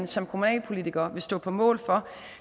som kommunalpolitikerne vil stå på mål for